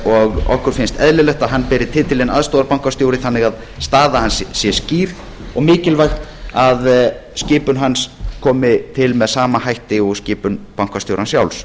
og okkur finnst eðlilegt að hann beri titilinn aðstoðarbankastjóri þannig að staða hans sé skýr og mikilvægt að skipun hans komi til með sama hætti og skipun bankastjórans sjálfs